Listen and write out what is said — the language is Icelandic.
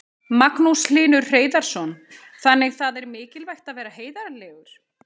Magnús Hlynur Hreiðarsson: Þannig það er mikilvægt að vera heiðarlegur?